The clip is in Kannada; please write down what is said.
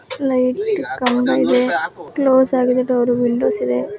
ಲೈಟ್ ಕಂಬ ಇದೆ. ಕ್ಲೋಸ್ ಆಗಿದೆ ಡೋರ್ ವಿಂಡೋಸ್ ಇದೆ.